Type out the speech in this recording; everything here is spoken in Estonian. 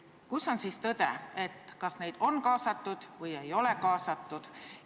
Kus on siis tõde: kas neid on kaasatud või ei ole kaasatud?